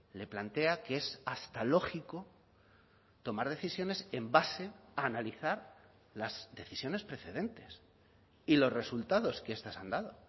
le plantea que es hasta lógico tomar decisiones en base a analizar las decisiones precedentes y los resultados que estas han dado